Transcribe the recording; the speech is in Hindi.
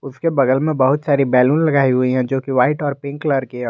उसके बगल में बहुत सारी बैलून लगाई हुई है जो कि व्हाइट और पिंक कलर की--